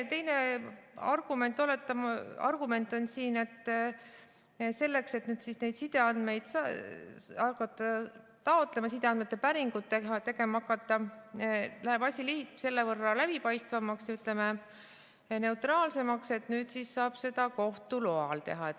Teine argument on siin, et selleks, et neid sideandmeid hakata taotlema, sideandmete päringuid tegema hakata, läheb asi selle võrra läbipaistvamaks ja, ütleme, neutraalsemaks, sest nüüd saab seda kohtu loal teha.